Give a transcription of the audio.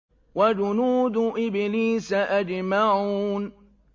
وَجُنُودُ إِبْلِيسَ أَجْمَعُونَ